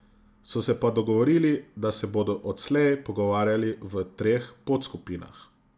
So se pa dogovorili, da se bodo odslej pogovarjali v treh podskupinah.